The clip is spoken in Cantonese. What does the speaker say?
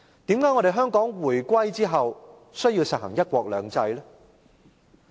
為何香港回歸後需要實行"一國兩制"？